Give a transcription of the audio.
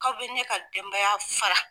Aw bɛ ne ka denbaya fara.